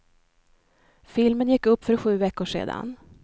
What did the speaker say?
Filmen gick upp för sju veckor sedan.